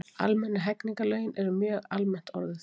almennu hegningarlögin eru mjög almennt orðuð